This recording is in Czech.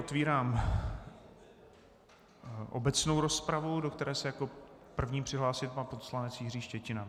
Otevírám obecnou rozpravu, do které se jako první přihlásil pan poslanec Jiří Štětina.